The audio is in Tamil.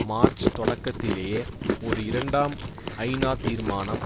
மார்ச் தொடக்கத்திலேயே ஒரு இரண்டாம் ஐநா தீர்மானம்